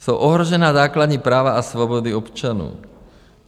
Jsou ohrožena základní práva a svobody občanů?